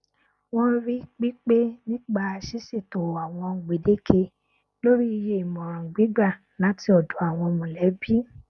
wọn rí pípé nípa ṣíṣètò àwọn gbèdéke lórí iye ìmọràn gbígbà láti ọdọ àwọn mọlẹbí